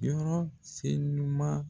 Yɔrɔ se ɲuman